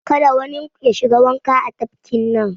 Kada wanin ku ya shiga wanka a tafkin nan!